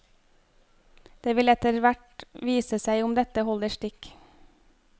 Det vil etterhvert vise seg om dette holder stikk.